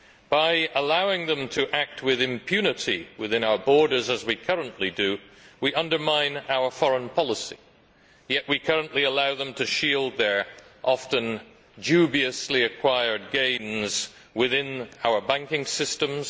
By allowing them to act with impunity within our borders as we currently do, we undermine our foreign policy, and yet we currently allow them to shield their often dubiously acquired gains within our banking systems.